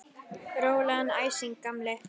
Rólegan æsing, gamli!